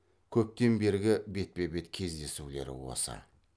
көптен бергі бетпе бет кездесулері осы